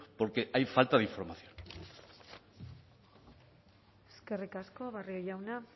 porque hay falta de información eskerrik asko barrio jauna